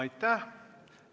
Aitäh!